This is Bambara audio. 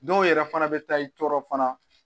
Dɔw yɛrɛ fana bɛ taa i tɔɔrɔ fana